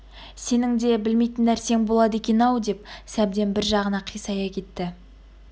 сенің де білмейтін нәрсең болады екен-ау деп сәбден бір жағына қисая кетті